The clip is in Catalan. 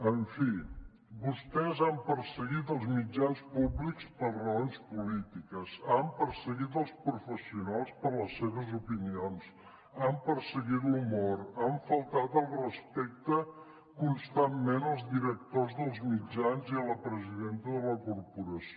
en fi vostès han perseguit els mitjans públics per raons polítiques han perseguit els professionals per les seves opinions han perseguit l’humor han faltat al respecte constantment als directors dels mitjans i a la presidenta de la corporació